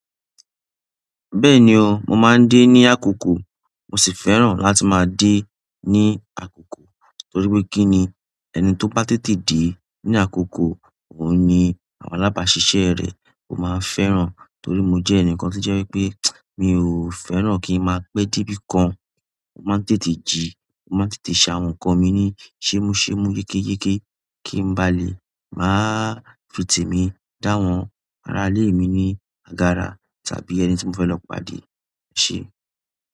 Bẹ́ẹ̀ni o, mo máa ń dé ní àkókò mo sì fẹ́ràn láti máa dé ní àkókò torí pé kí ni ẹni tó bá tètè dé ní àkókò òun ni àwọn alábàáṣiṣẹ́ rẹ̀ ó máa ń fẹ́ràn torí mo jẹ́ ẹnìkan tí jẹ́ pé mi ò fẹ́ràn kí n máa pé dé bí i kan. Mo máa ń tètè jí, mo máa ń tètè sa àwọn nǹkan mi ní ṣémúṣéémú, yékéyéké kí n ba lè máa fi tèmi dáhùn ara ilé mi ní àgàrà tàbí ẹni tí mo fẹ́ lọ pàdé ṣe.